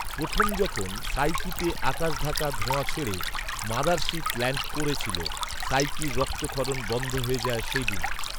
প্রথম যখন সাইকিতে আকাশঢাকা ধোঁয়া ছেড়ে মাদারশিপ ল্যান্ড করেছিল, সাইকির রক্তক্ষরণ বন্ধ হয়ে যায় সেদিনই